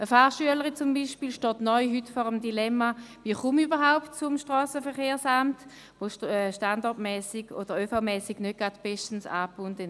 Eine Fahrschülerin zum Beispiel steht heute neu vor dem Dilemma, wie sie überhaupt zum Strassenverkehrsamt gelangt, denn es ist standort- und ÖV-mässig nicht unbedingt bestens angebunden.